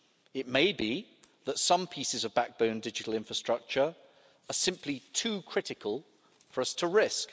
It may be that some pieces of backbone digital infrastructure are simply too critical for us to risk.